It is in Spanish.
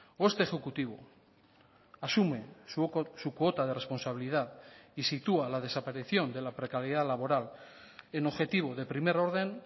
o este ejecutivo asume su cuota de responsabilidad y sitúa la desaparición de la precariedad laboral en objetivo de primer orden